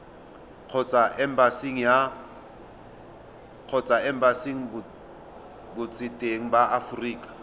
kgotsa embasing botseteng ba aforika